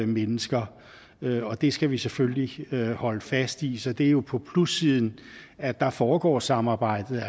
mennesker og det skal vi selvfølgelig holde fast i så det er jo på plussiden at der foregår samarbejdet